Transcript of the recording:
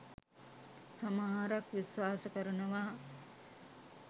සමහරක් විශ්වාස කරනවා.